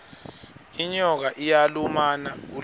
inyoka iyalumana ulimale